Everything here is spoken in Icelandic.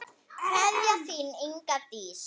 Kveðja, þín, Inga Dís.